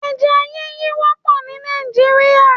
Eja yíyí wópò ní Nàìjíríà